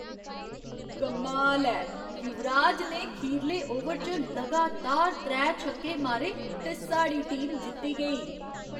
कमाल ऐ! युवराज ने खीरले ओवर च लगातार त्रै छक्के मारे ते साढ़ी टीम जित्ती गेई।